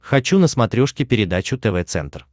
хочу на смотрешке передачу тв центр